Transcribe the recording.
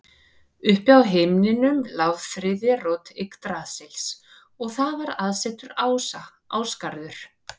Uppi á himnum lá þriðja rót Yggdrasils og þar var aðsetur ása, Ásgarður.